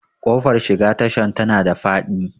Ƙofar shiga tashan tana da faɗi